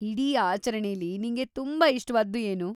ಇಡೀ ಆಚರಣೆಲಿ ನಿಂಗೆ ತುಂಬಾ ಇಷ್ಟ್ವಾದ್ದು ಏನು?